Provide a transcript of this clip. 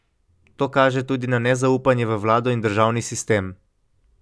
To kaže tudi na nezaupanje v vlado in državni sistem.